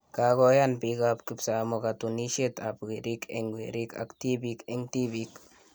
kakoyan bik ap kipsamoo katunishiet ap werik eng werik ak tibik eng tibik